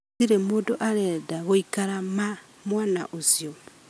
Gũtirĩ mũndũarenda gũikara ma mwana ũcio